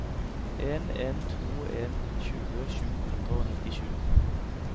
en en to en tjue sju hundre og nittisju